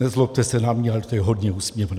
Nezlobte se na mě, ale to je hodně úsměvné.